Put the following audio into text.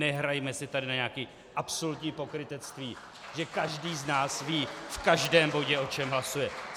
Nehrajme si tady na nějaké absolutní pokrytectví, že každý z nás ví v každém bodě, o čem hlasuje.